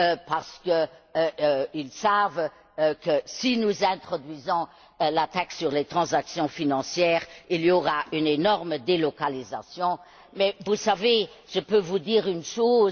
parce qu'ils savent que, si nous introduisons une telle taxe sur les transactions financières, il y aura une énorme délocalisation. Mais, vous savez, je peux vous dire une chose.